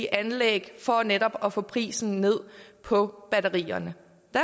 anlæg for netop at få prisen ned på batterierne